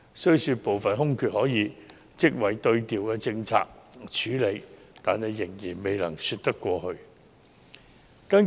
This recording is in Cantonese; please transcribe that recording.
雖說部分空缺可以職位對調政策處理，但仍然未能說得過去。